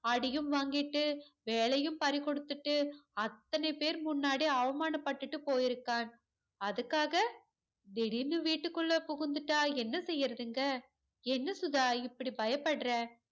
அடியும் வாங்கிட்டு வேலையும் பறிகொடுத்துட்டு அத்தனை பேர்முன்னாடி அவமானபட்டுட்டு போயிருக்கான் அதுக்காக திடீர்ன்னு வீட்டுக்குள்ள புகுந்துட்டா என்ன செய்யறதுங்க என்ன சுதா இப்படி பயப்பட்ற